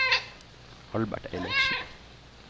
Albert Eilertsen